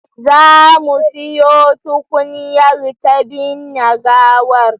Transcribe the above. Za mu siyo tukunyar ta binne gawar